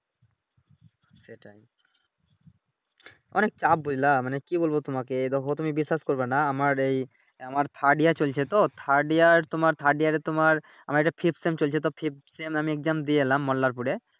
অনেক চাপ বুঝলা মানে কি বলবো তোমাকে এই দেখো তুমিও বিশ্বাস করবেনা আমার এই আমার thirs year চলছে তো Third year তোমার Third year তোমার আমার একটা চলছে তো আমি Exam দিয়ে এলাম মল্লার পুরে।